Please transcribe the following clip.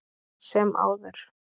sem áður